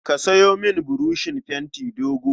Ka sayo mini buroshin fenti dogo.